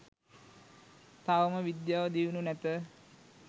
තවම විද්‍යාව දියුණු නැත